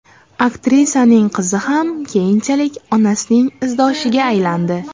Aktrisaning qizi ham keyinchalik onasining izdoshiga aylandi.